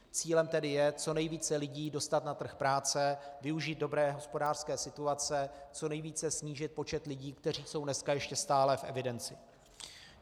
Cílem tedy je co nejvíce lidí dostat na trh práce, využít dobré hospodářské situace, co nejvíce snížit počet lidí, kteří jsou dneska ještě stále v evidenci.